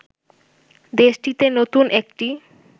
দেশটিতে নতুন একটি